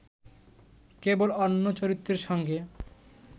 কেবল অন্য চরিত্রের সঙ্গে